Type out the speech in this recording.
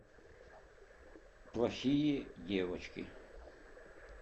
плохие девочки